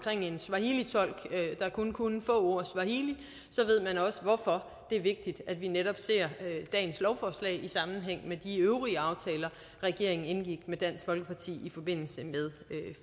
en swahilitolk der kun kunne få ord swahili ved man også hvorfor det er vigtigt at vi netop ser dagens lovforslag i sammenhæng med de øvrige aftaler regeringen indgik med dansk folkeparti i forbindelse med